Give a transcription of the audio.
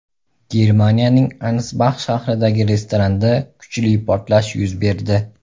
Germaniyaning Ansbax shahridagi restoranda kuchli portlash yuz berdi.